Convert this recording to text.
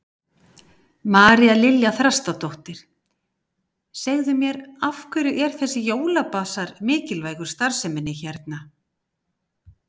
María Lilja Þrastardóttir: Segðu mér, af hverju er þessi jólabasar mikilvægur starfseminni hérna?